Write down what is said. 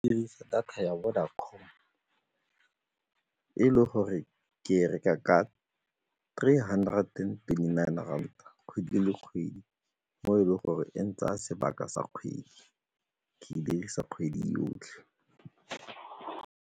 Ke dirisa data ya Vodacom e e le gore ke reka ka three hundred and twenty-nine rand kgwedi le kgwedi mo e leng gore e ntsaya sebaka sa kgwedi, ke e dirisa kgwedi yotlhe.